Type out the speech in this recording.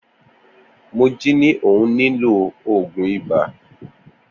Moji ni òhun ni lo òògùn ibà.